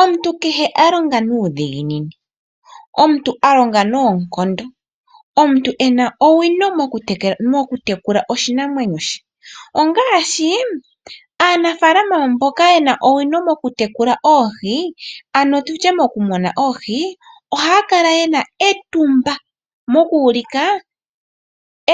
Omuntu kehe alonga nuudhiginini omuntu alonga noonkondo omuntu ena owino moku tekula oshinamwenyo she ongaashi aanafaalama mboka yena owino moku tekula oohi ano tutye mokumuna oohi ohaakala yena etumba moku ulika